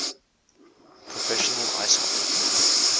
professional ice hockey